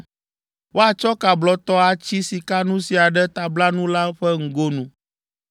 Woatsɔ ka blɔtɔ atsi sikanu sia ɖe tablanu la ƒe ŋgonu.